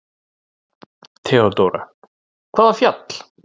THEODÓRA: Hvaða fjall?